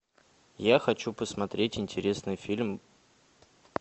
я хочу посмотреть интересный фильм